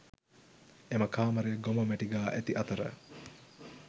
එම කාමරය ගොම මැටි ගා ඇති අතර